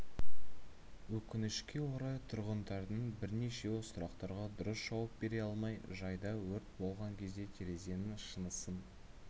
өкінішке орай тұрғындардың бірнешеуі сұрақтарға дұрыс жауап бере алмай жайда өрт болған кезде терезенің шынысын